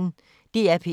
DR P1